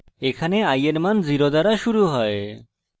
এখানে i এর মান 0 দ্বারা শুরু হয়